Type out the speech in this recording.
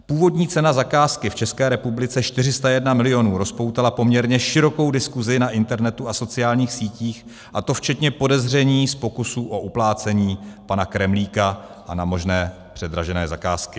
Původní cena zakázky v České republice 401 milionů rozpoutala poměrně širokou diskuzi na internetu a sociálních sítích, a to včetně podezření z pokusu o uplácení pana Kremlíka a na možné předražené zakázky.